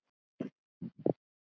Minning Ólafar lifir.